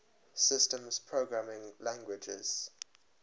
systems programming languages